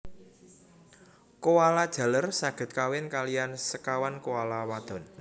Koala jaler saged kawin kaliyan sekawan koala wadon